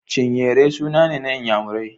Chinyere suna ne na Inyamurai